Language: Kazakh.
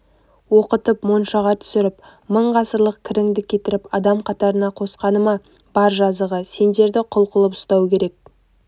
оқытып моншаға түсіріп мың ғасырлық кіріңді кетіріп адам қатарына қосқаны ма бар жазығы сендерді құл қылып ұстау керек